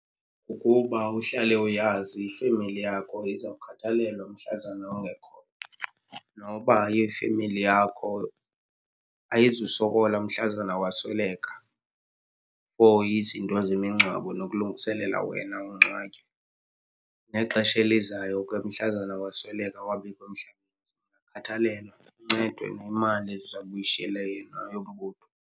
Ukuba uhlale uyazi ifemeli yakho izawukhathalelwa mhlazana ungekhoyo. Noba ayiyofemeli yakho, ayizusokola mhlazana wasweleka ukuhoya izinto zemingcwabo nokulungiselela wena ungcwatywe. Nexesha elizayo ke mhlazana wasweleka, awabikho emhlabani, khathalelwa, uncedwe nayimali ezawube uyishiyele yena yombutho.